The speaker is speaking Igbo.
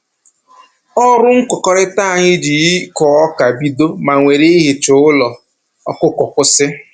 Ọrụ nkụkọrịta anyị ji ịkụ ọka bido ma were ihicha ụlọ ọkụkọ kwụsị